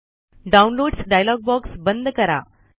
downloads dialog box बंद करा